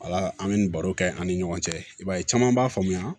Ala an bɛ nin baro kɛ an ni ɲɔgɔn cɛ i b'a ye caman b'a faamuya